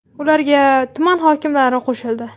Ularga tuman hokimlari qo‘shildi.